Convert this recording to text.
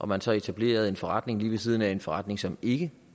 man så etablerede en forretning lige ved siden af en forretning som ikke